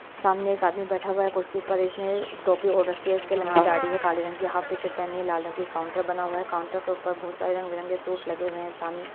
सामने एक आदमी बैठा हुआ है कुर्सी पर इसने टोपी ओड़ रखी है इसके लंबी दाढ़ी है काले रंग की हाफ टीशर्ट पहनी है लाल रंग की काउंटर बना हुआ है काउंटर के ऊपर बहुत सारे रंग बिरंगे सूट लगे हुए हैं सामने--